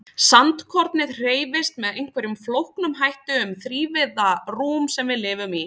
Sandkornið hreyfist með einhverjum flóknum hætti um hið þrívíða rúm sem við lifum í.